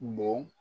Bon